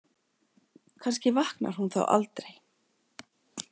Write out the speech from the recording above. Kannski vaknar hún þá aldrei.